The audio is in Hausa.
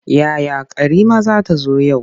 Yaya Karima za ta zo yau.